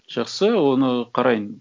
жақсы оны қарайын